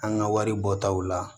An ka wari bɔtaw la